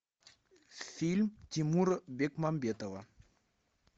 фильм тимура бекмамбетова